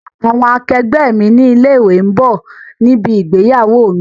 Àwọn àkẹgbẹ́ mi ní ilé ìwé ń bọ̀ níbi ìgbéyàwó mi.